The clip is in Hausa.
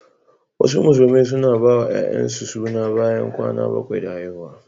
Wasu Musulmai suna bawa 'ya'yansu suna bayan kwana bakwai da haihuwa.